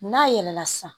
N'a yɛlɛla san